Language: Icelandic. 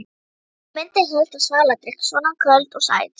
Hún minnir helst á svaladrykk, svona köld og sæt.